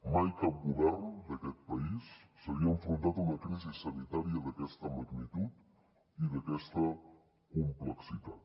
mai cap govern d’aquest país s’havia enfrontat a una crisi sanitària d’aquesta magnitud i d’aquesta complexitat